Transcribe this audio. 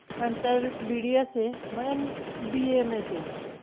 नंतर BDS ए. म BAMS ए.